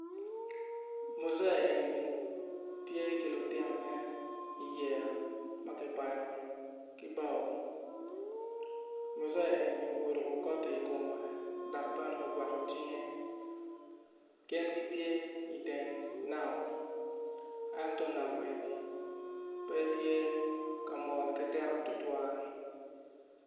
Muzee eni tye ki lutinone i yeya ma kiyubo ki bao mujee eni oruko koti i kome dok bene ogwako cinge gin gitye i teng nam.